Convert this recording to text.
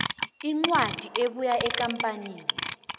incwadi ebuya ekampanini